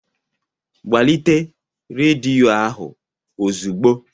Gbalite rediyo ahụ ozugbo!